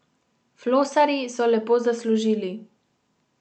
Flosarji so lepo zaslužili.